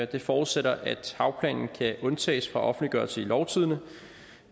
det forudsætter at havplanen kan undtages fra offentliggørelse i lovtidende